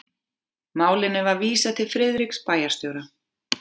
Málinu var vísað til Friðriks bæjarstjóra.